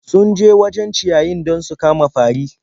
Sun je wajen ciyayi don su kama fari.